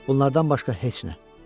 Bunlardan başqa heç nə.